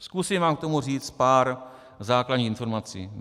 Zkusím vám k tomu říct pár základních informací.